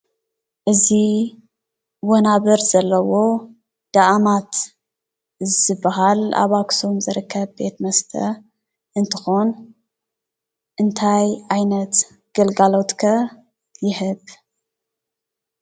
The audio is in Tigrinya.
እዚ ወናብር ዘለዎ ዳኣማት ዝበሃል ኣብ ኣክሱም ዝርከብ ቤት መስተ እንትኾን እንታይ ዓይነት ግልጋሎት ከ ይህብ ?